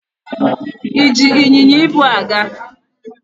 E ji ịnyịnya ibu a gaa?